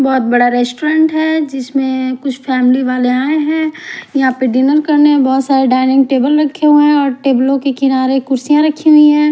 बहुत बड़ा रेस्टोरेंट है जिसमें कुछ फैमिली वाले आए हैं यहां पर डिनर करने बहुत सारे डाइनिंग टेबल रखे हुए हैं और टेबलों के किनारे कुर्सियां रखी हुई हैं।